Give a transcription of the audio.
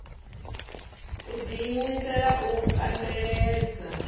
u ḓi imisela u kandeledza